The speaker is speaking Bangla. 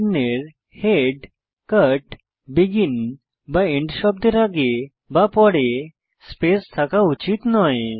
চিহ্ন এর হেড কাট বেগিন বা এন্ড শব্দের আগে বা পরে স্পেস থাকা উচিৎ নয়